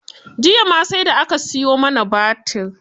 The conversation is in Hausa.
Jiya ma sai da aka siyo mana batir.